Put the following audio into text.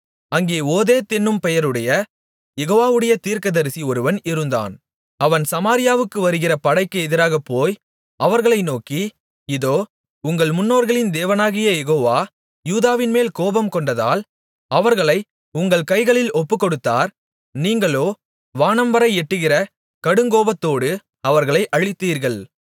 அங்கே ஓதேத் என்னும் பெயருடைய யெகோவாவுடைய தீர்க்கதரிசி ஒருவன் இருந்தான் அவன் சமாரியாவுக்கு வருகிற படைக்கு எதிராகப் போய் அவர்களை நோக்கி இதோ உங்கள் முன்னோர்களின் தேவனாகிய யெகோவா யூதாவின்மேல் கோபம்கொண்டதால் அவர்களை உங்கள் கைகளில் ஒப்புக்கொடுத்தார் நீங்களோ வானம்வரை எட்டுகிற கடுங்கோபத்தோடு அவர்களை அழித்தீர்கள்